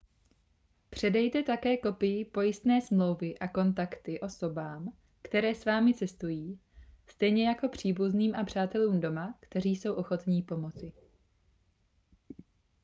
předejte také kopii pojistné smlouvy a kontakty osobám které s vámi cestují stejně jako příbuzným a přátelům doma kteří jsou ochotní pomoci